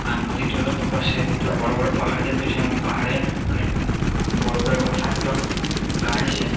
আর নদীটিরও দুপাশে দুটো পাহাড় দেখতে পাচ্ছিলাম | পাহাড়ে অনেক বড়ো বড়ো এবং ছোট ছোট গাছ আছে।